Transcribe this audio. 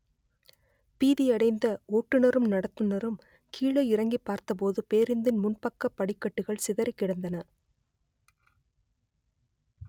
பீதியடைந்த ஓட்டுனரும் நடத்துனரும் கீழ இறங்கிப் பார்த்தபோது பேருந்தின் முன்பக்க படிக்கட்டுகள் சிதறிக் கிடந்தன